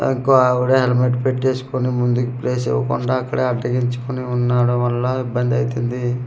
అగ్గో అవిడే అనమాట పెట్టేసుకుని ముందుకు ప్లేస్ ఇవ్వకుండా అక్కడే అడ్డగించుకొని ఉన్నాడం వల్ల ఇబ్బంది అయితుంది.